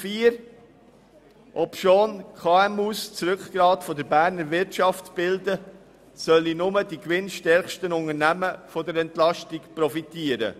Obschon die KMU das Rückgrat der Berner Wirtschaft bilden, sollen nur die gewinnstärksten Unternehmen von der Entlastung profitieren.